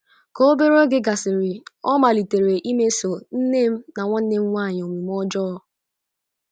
Ka obere oge gasịrị, ọ malitere imeso nne m na nwanne m nwanyị omume ọjọọ. ”